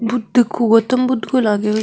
बुद्ध गौतम बुद्ध लागे --